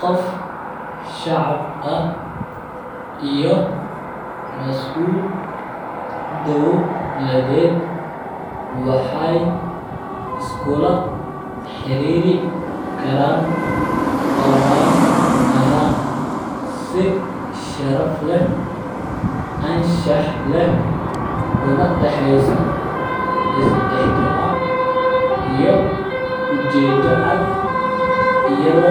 Qof shacsb ah iyo masul dowlaaded waxee iskula xirir karan online ahan si sharaf leh anshax leh una daceysa is ixtiram iyo ujedo cad sitha